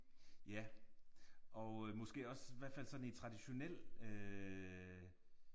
Ja og måske også i hvert fald sådan i traditionel øh